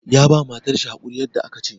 Ya ba matar shi hakuri yadda aka ce.